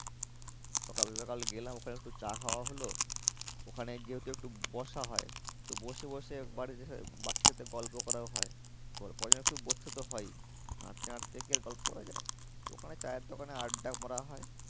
সকাল সকাল গেলাম ওখানে একটু চা খাওয়া হলো। ওখানে যেহেতু একটু বসা হয় তো বসে বসে গল্প করাও হয়। বসতে তো হয়ই হাঁটতে হাঁটতে কি আর গল্প করা যায়? তো ওখানে চায়ের দোকানে আড্ডা মারা হয়।